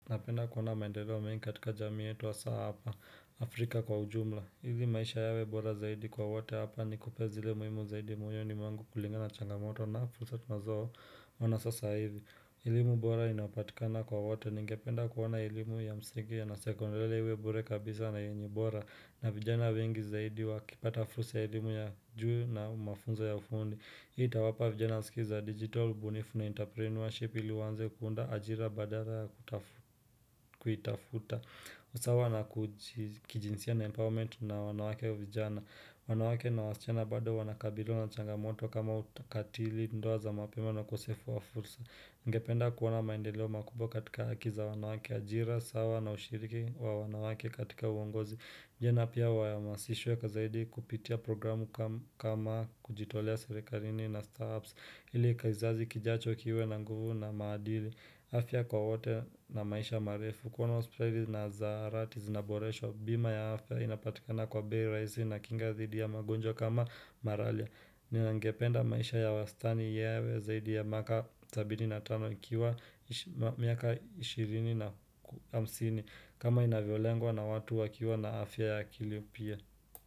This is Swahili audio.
Napenda kuona maendeleo mengi katika jamii yetu haswaa hapa, Afrika kwa ujumla. Hili maisha yawe bora zaidi kwa wote hapa nikupee zile muhimu zaidi moyoni mwangu kulingana na changamoto na fursa tunazo ona sasa hivi. Elimu bora inapatikana kwa wote ningependa kuona elimu ya msingi ya na sekondare iwe bure kabisa na yenye bora. Na vijana wengi zaidi wa kipata fursa ya elimu ya juu na mafunzo ya fundi. Hii itawapa vijana skills za digital, ubunifu na interpreneurship ili waanze kuunda ajira badala ya kuitafuta usawa na kijinsia na empowerment na wanawake vijana wanawake na wasichana bado wanakabiliwa na changamoto kama utakatili, ndoa za mapema na ukosefu wa fursa Ningependa kuona maendeleo makubwa katika haki za wanawake ajira, sawa na ushiriki wa wanawake katika uongozi vijana pia wahamasishwe zaidi kupitia programu kama kama kujitolea serikarini na startups Hili kizazi kijacho kiwe na nguvu na maadili afya kwa wote na maisha marefu kuona hospitali na zaharati zinaboreshwa Bima ya afya inapatikana kwa bei rahisi na kinga thidi ya magonjwa kama maralia Ningependa maisha ya wastani yawe zaidi ya miaka sabini na tano ikiwa miaka 20 na hamsini kama inavyolengwa na watu wakiwa na afya ya kili mpya.